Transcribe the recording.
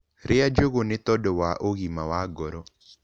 Rĩa njũgũ nĩtondũ wa ũgima wa ngoro